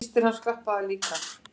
Systir hans klappaði líka.